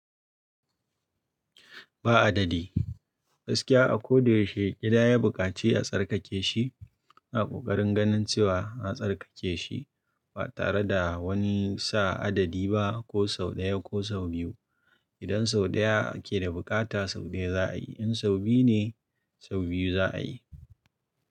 Ba adadi. Gaskiya a ko da yaushe gida ya bukaci a tsarkake shi, a kokarin ganin cewa an tsarkake shi ba tare da wani sa adadi ba ko sau ɗaya ko sau biyu. Idan sau ɗaya ke da bukata sau ɗaya za a yi, in sau biyu ne sau biyu za a yi.